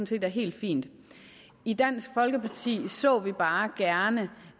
set er helt fint i dansk folkeparti så vi bare gerne